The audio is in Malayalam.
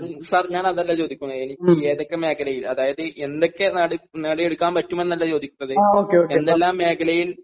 സർ ഞാനതല്ല ചോദിക്കുന്നത് എനിക്ക് ഏതൊക്കെ മേഖലയിൽ അതായത് എന്തൊക്കെ നേടിയെടുക്കാൻ പാട്ടുമെന്നല്ല ചോദിക്കുന്നത് എന്തെല്ലാം മേഖലയിൽ